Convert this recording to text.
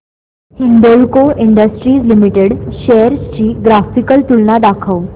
Hindalco industries limited shares ची graphical तुलना दाखव